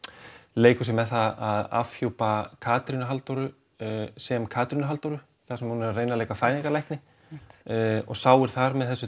leikur sér með það að afhjúpa Katrínu Halldóru sem Katrínu Halldóru þar sem hún er að reyna að leika fæðingarlækni og sáir þar með þessu